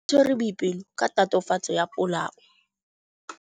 Maphodisa a tshwere Boipelo ka tatofatsô ya polaô.